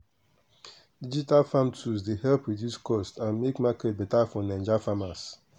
digital farm tools dey help reduce cost and make market beta for naija farmers.